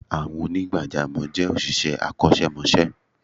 Àwọn onigbajamo je òṣìṣẹ́ akosemose